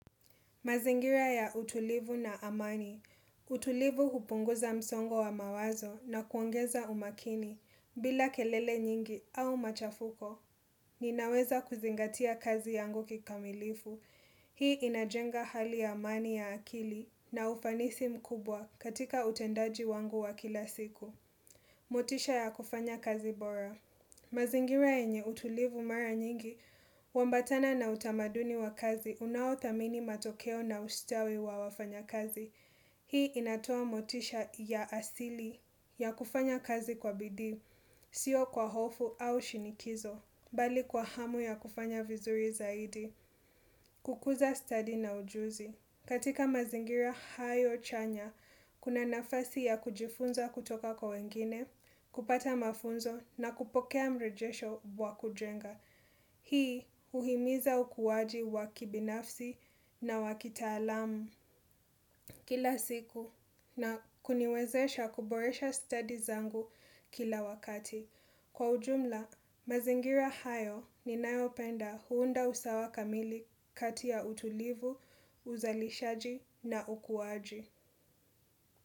Mazingira ya utulivu na amani. Utulivu kupunguza msongo wa mawazo na kuongeza umakini. Bila kelele nyingi au machafuko, ninaweza kuzingatia kazi yangu kikamilifu. Hii inajenga hali ya amani ya akili na ufanisi mkubwa katika utendaji wangu wa kila siku. Motisha ya kufanya kazi bora. Mazingira yenye utulivu mara nyingi, huambatana na utamaduni wa kazi, unaothamini matokeo na ustawi wa wafanya kazi. Hii inatoa motisha ya asili ya kufanya kazi kwa bidii, sio kwa hofu au shinikizo, bali kwa hamu ya kufanya vizuri zaidi, kukuza stadi na ujuzi. Katika mazingira hayo chanya, kuna nafasi ya kujifunza kutoka kwa wengine, kupata mafunzo na kupokea mrejesho wa kujenga. Hii huhimiza ukuwaji wa kibinafsi na wa kitaalamu kila siku na kuniwezesha kuboresha stadi zangu kila wakati. Kwa ujumla, mazingira hayo ninayopenda huunda usawa kamili kati ya utulivu, uzalishaji na ukuwaji.